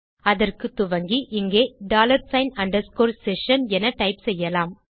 அதற்கு துவங்கி இங்கே டாலர் சிக்ன் அண்டர்ஸ்கோர் செஷன் என டைப் செய்யலாம்